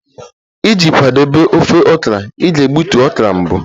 Iji kwadebe ofe okra, ị ga-egbutu okra mbụ